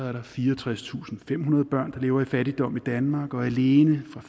er der fireogtredstusinde og femhundrede børn der lever i fattigdom i danmark og alene fra